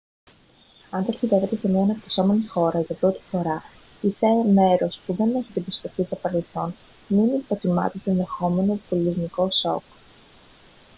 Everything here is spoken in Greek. αν ταξιδεύετε σε μια αναπτυσσόμενη χώρα για πρώτη φορά ή σε μέρος που δεν έχετε επισκεφτεί στο παρελθόν μην υποτιμάτε το ενδεχόμενο πολιτισμικό σοκ